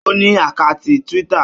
Ó ní àkátì Twitter.